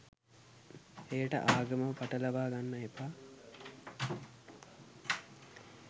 එයට ආගම පටලවා ගන්න එපා.